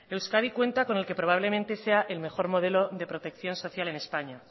euskadi cuenta con el que probablemente sea el mejor modelo de protección social en españa